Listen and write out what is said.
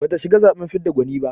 Bata shiga zaɓen fidda gwani ba.